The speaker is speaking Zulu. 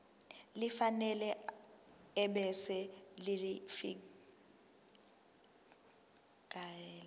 elifanele ebese ulifiakela